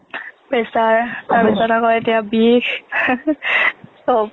pressure, তাৰ পিছত আকো এটিয়া বিষ চৱ।